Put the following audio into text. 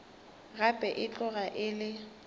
gape e tloga e le